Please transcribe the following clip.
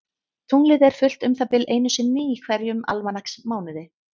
Tunglið er fullt um það bil einu sinni í hverjum almanaksmánuði.